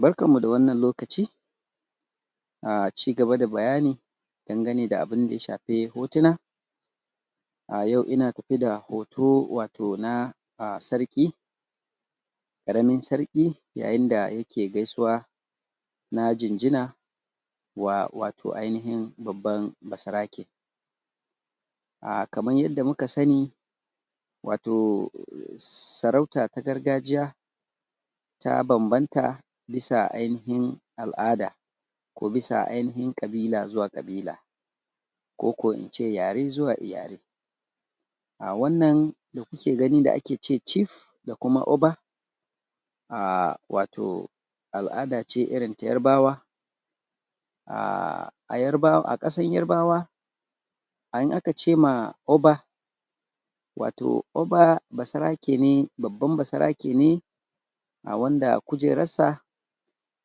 Barka da wannan lokaci! A ciki gaba da bayani danagane da abinda ya shafi hotuna yau ina tafe da hoto wato na sarki ƙaramin sarki yayin da yake gaisuwa na jinjina wa wato ainahin babban basarake a kamar yadda muka sana wato? sarauta ta gargajiya ta bambanta bisa ainahin al'ada ko bisa ainahin ƙabila zuwa ƙabila ko ko in ce yare zuwa yare a wannan wannan da kuke gani da ake ce Cif da kuma Oba a wato al'ada ce irinta yarabawa a yarabawa a ƙasar yarabawa in aka ce ma Oba wato Oba basarake ne babban basarake ne wanda kujerarsa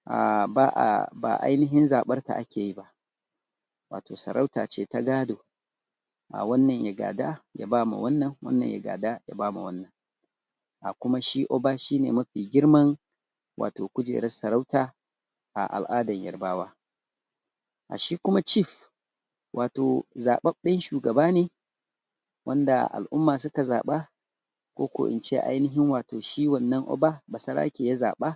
a ba a ba ainahin zaɓarka ake yi ba wato sarauta ce ta gado wannan ya gada ya ba ma wannan, wannan ya gada ya ba ma wannan kuma shi oba shi ne ma fi girman wato kujerar sarauta a al'adar yarabawa, shi kuma CIf wato zaɓaɓɓen shugaba ne wanda al'umma suka zaɓa ko ko in ce ainahin shi wannan Oba basarake ya zaɓa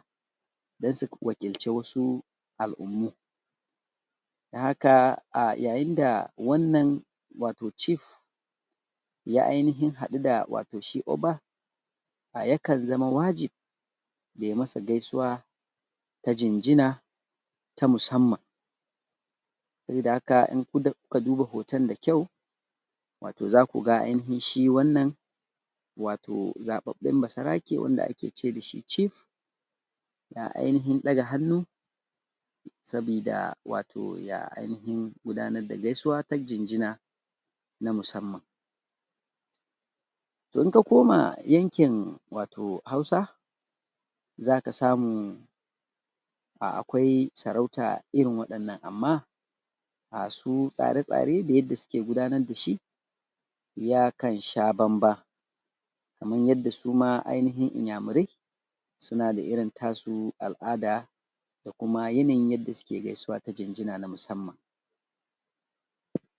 don su wakilci wasu al'ummu don haka a yayin da wannan wato Cif ya ainahin haɗu wato shi Oba yakan zama wajibi yai masa gaisuwa ta jinjina ta musaman sabida haka in ku da kuka duba hoton da kyau wato za ku shi ainahin zaɓaɓɓen basarake wanda ake ce da shi Cif na ainahin ɗaga hannu sabida wato ya ainahin gudanar da gaisuwa ta jinjina na musamman in ka koma yankin wato Hausa za ka samu akwai sarauta irin waɗannan amma su tsare-tsare na yadda suke gudanar da shi yakan sha bamban kamar yadda su ma ainahin Inyamurai suna da irin tasu al'ada da kuma yanayin yadda suke gaisuwa ta jinjina na musamman.